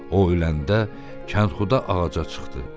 O öləndə Kəndxuda ağaca çıxdı.